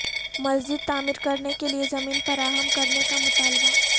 مسجد تعمیرکرنے کے لئے زمین فراہم کرنے کا مطالبہ